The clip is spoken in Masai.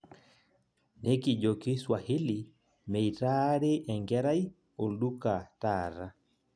Nekijoki Swahili meitaaari enkerai olduka taata